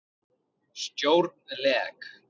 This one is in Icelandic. Stjórn LEK